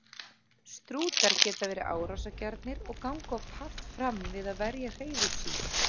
Strútar geta verið árásargjarnir og ganga oft hart fram við að verja hreiður sín.